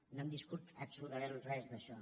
no hem viscut absolutament res d’això